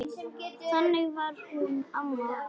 Þannig var hún amma okkur.